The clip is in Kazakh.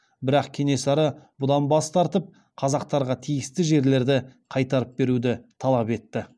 бірақ кенесары бұдан бас тартып қазақтарға тиісті жерлерді қайтарып беруді талап етті